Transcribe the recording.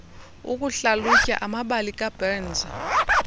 ukuhlalutya amabali kaburns